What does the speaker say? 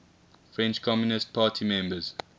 french communist party members